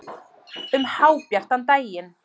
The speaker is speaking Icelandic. Um hábjartan daginn!